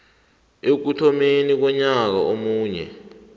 ekuthomeni konyaka omunye